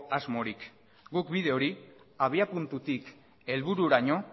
asmorik guk bide hori abiapuntutik helbururaino